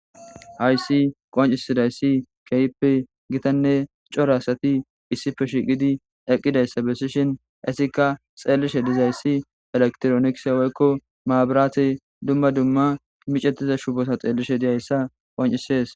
Hayssi qoncisidaysi keehippe gitanne cora asati issipe shiiqidi eqqidayssa bessishin ,eetika xeellishe dizaysi elekitironikise woyko maburate dumma dumma micetiza shubota xeellishe dizaysa qonccisees.